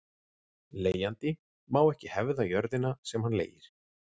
Leigjandi má ekki hefða jörðina sem hann leigir.